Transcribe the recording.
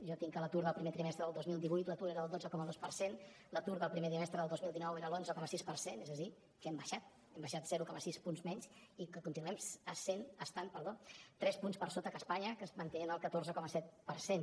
jo tinc que l’atur del primer trimestre del dos mil divuit era del dotze coma dos per cent l’atur del primer trimestre del dos mil dinou era l’onze coma sis per cent és a dir que hem baixat hem baixat zero coma sis punts menys i que continuem estan per sota que espanya que es manté en el catorze coma set per cent